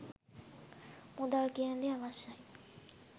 මුදල් කියන දේ අවශ්‍යයි